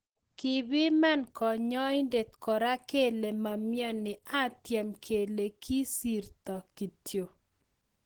Kipiman kanyoindet kora kele mamioni , atyem kelen kisirto kityo.